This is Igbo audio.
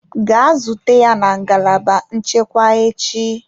Gaa zute ya na ngalaba nchekwa echi!